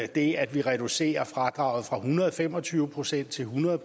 det at vi reducerer fradraget fra en hundrede og fem og tyve procent til hundrede